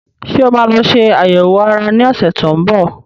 Ṣé o máa lọ ṣe àyẹ̀wò ara ní ọ̀sẹ̀ tó ń bọ̀?